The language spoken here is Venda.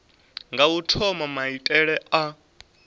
nga u thoma maitele a